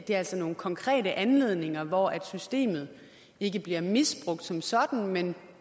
er altså nogle konkrete anledninger hvor systemet ikke bliver misbrugt som sådan men